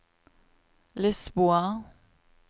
Lisboa